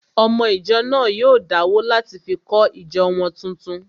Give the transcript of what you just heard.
Ọmọ ìjọ náà yóò dáwó láti fi kọ́ ìjọ wọn tuntun